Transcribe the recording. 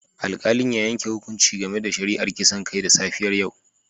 Alkalin ya yanke hukunci game da shari'ar kisan kai da safiyar yau